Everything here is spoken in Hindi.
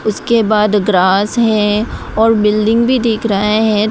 उसके बाद ग्रास है और बिल्डिंग भी देख रहा है।